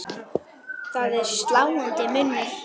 Það er sláandi munur.